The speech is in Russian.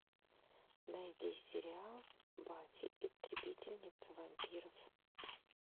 найди сериал баффи истребительница вампиров